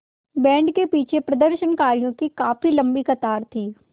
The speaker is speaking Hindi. बैंड के पीछे प्रदर्शनकारियों की काफ़ी लम्बी कतार थी